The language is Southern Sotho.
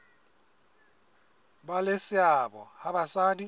ba le seabo ha basadi